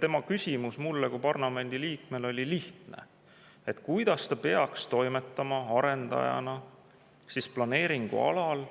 Tema küsimus mulle kui parlamendi liikmele oli lihtne: kuidas ta peaks arendajana toimetama planeeringualal,